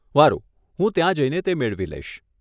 વારુ, હું ત્યાં જઈને તે મેળવી લઈશ.